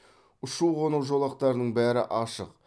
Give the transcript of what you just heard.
ұшу қону жолақтарының бәрі ашық